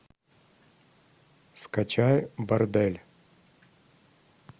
скачай бордель